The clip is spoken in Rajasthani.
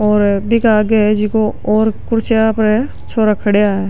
और बीके आगे है जको और कुर्सियां पर छोरा खड़या है।